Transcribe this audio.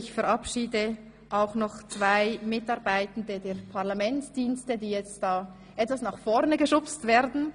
Ich verabschiede auch noch zwei Mitarbeitende der Parlamentsdienste, die jetzt etwas nach vorne geschubst werden.